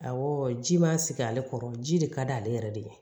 Awɔ ji ma sigi ale kɔrɔ ji de ka d'ale yɛrɛ de ye